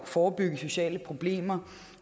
forebygge sociale problemer